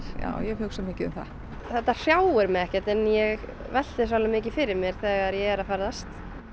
já ég hugsa mikið um það þetta hrjáir mig ekkert en ég velti þessu mikið fyrir mér þegar ég er að ferðast